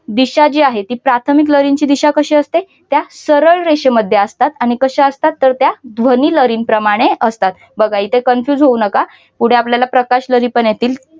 दिशा जी आहे ती प्राथमिक लहरींची दिशा कशी असते. त्या सरळ रेषेमध्ये असतात. आणि कशा असतात तर त्या ध्वनी लहरीप्रमाणे असतात बघा इथे confused होऊ नका. पुढे आपल्याला प्रकाश लहरी पण येतील.